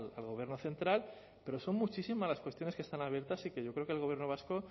al gobierno central pero son muchísimas las cuestiones que están abiertas y que yo creo que el gobierno vasco